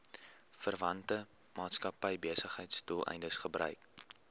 verwante maatskappybesigheidsdoeleindes gebruik